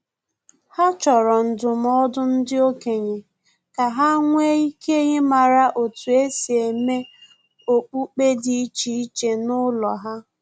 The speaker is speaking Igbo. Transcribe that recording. Ha chọrọ ndụmọdụ ndị okenye ka ha nwee ike ịmara otu esi eme okpukpe dị iche iche n'ụlọ ha